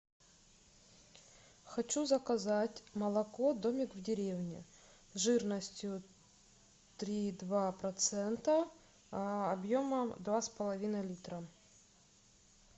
хочу заказать молоко домик в деревне жирностью три и два процента объемом два с половиной литра